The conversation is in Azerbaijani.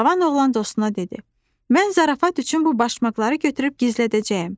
Cavan oğlan dostuna dedi: "Mən zarafat üçün bu başmaqları götürüb gizlədəcəyəm.